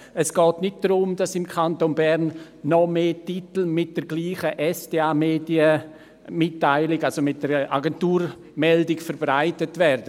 Es geht nicht darum, dass im Kanton Bern noch mehr Titel mit derselben SDA-Agenturmeldung verbreitet werden.